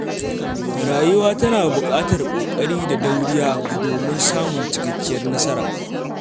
Rayuwa tana buƙatar ƙoƙari da dauriya domin samun cikakkiyar nasara.